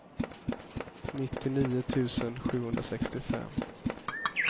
nittionio tusen sjuhundrasextiofem